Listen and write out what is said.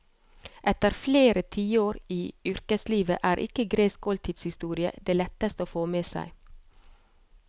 Etter flere tiår i yrkeslivet er ikke gresk oltidshistorie det letteste å få med seg.